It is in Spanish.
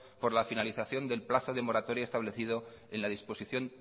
por la finalización del plazo de moratoria establecido en la disposición